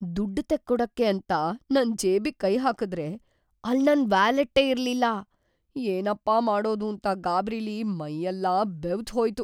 ದುಡ್ಡ್‌ ತೆಕ್ಕೊಡಕ್ಕೆ ಅಂತ ನನ್‌ ಜೇಬಿಗ್‌ ಕೈ ಹಾಕುದ್ರೆ ಅಲ್ಲ್‌ ನನ್‌ ವ್ಯಾಲೆಟ್ಟೇ ಇರ್ಲಿಲ್ಲ! ಏನಪ್ಪ ಮಾಡೋದೂಂತ ಗಾಬ್ರಿಲಿ ಮೈಯೆಲ್ಲ ಬೆವ್ತ್‌ಹೋಯ್ತು.